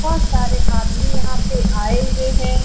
बहुत सारे आदमी यहाँ पे आए हुए हैं।